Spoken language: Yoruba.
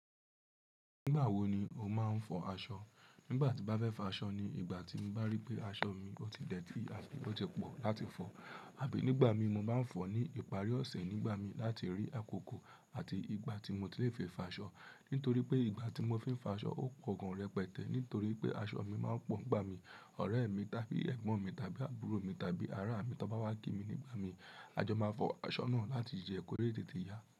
Nígbà wo ni o máa ń fọ aṣọ? Nígbà tí mo bafẹ́ fo aṣọ ni ìgbà tí mo bá rí pé aṣọ mi ò ti dẹ́tì àti pe otipọ̀ láti fọ, àbí nígbà mi mo bá ń fọ̀ ní ìparí ọ̀sẹ̀ nígbà mi láti rí àkókò àti ìgbà tí mo ti lè fi fà ṣọ́. Nítorí pé ìgbà tí mo fi ń fà ṣọ́ ó pọ̀ gan rẹpẹtẹ́ nítorí pé aṣọ mi máa ń pọ̀n gbà mí, ọ̀rẹ́ mi, tábí ẹ̀gbọ́n mi, tábí àbúrò mi, tábí ará mi tó bá wá kí mi nígbà mi. A jọ máa fọ aṣọ náà láti jẹ́ẹ́ kọ̀ lé tètè ya.